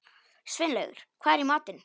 Sveinlaugur, hvað er í matinn?